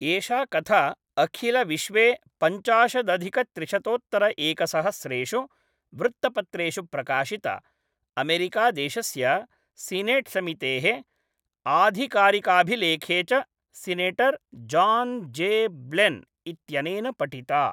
एषा कथा अखिलविश्वे पञ्चाशदधिकत्रिशतोत्तरैकसहस्रेषु वृत्तपत्रेषु प्रकाशिता, अमेरिकादेशस्य सीनेट्समितेः आधिकारिकाभिलेखे च सिनेटर् जान् जे.ब्लेन् इत्यनेन पठिता।